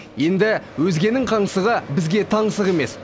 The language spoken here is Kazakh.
енді өзгенің қаңсығы бізге таңсық емес